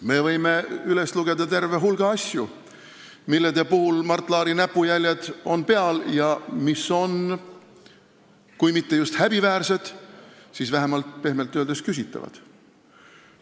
Me võime üles lugeda terve hulga asju, millel on Mart Laari näpujäljed peal ja mis on kui mitte just häbiväärsed, siis pehmelt öeldes vähemalt küsitavad.